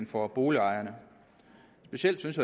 for boligejerne specielt synes